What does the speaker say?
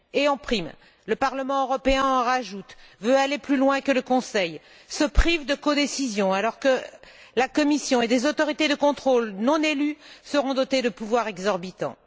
En prime, le Parlement européen en rajoute, veut aller plus loin que le Conseil, se prive de la codécision alors que la Commission et des autorités de contrôle non élues seront dotés de pouvoirs exorbitants.